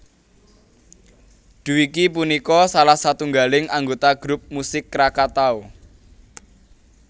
Dwiki punika salah satunggaling anggota grup musik Krakatau